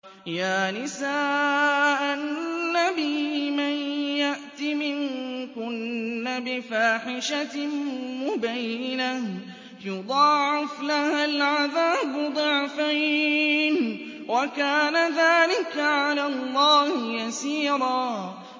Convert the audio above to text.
يَا نِسَاءَ النَّبِيِّ مَن يَأْتِ مِنكُنَّ بِفَاحِشَةٍ مُّبَيِّنَةٍ يُضَاعَفْ لَهَا الْعَذَابُ ضِعْفَيْنِ ۚ وَكَانَ ذَٰلِكَ عَلَى اللَّهِ يَسِيرًا